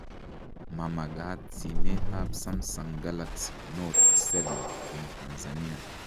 Ma magaat simet ab Sumsung Galaxy Note 7 eng Tansania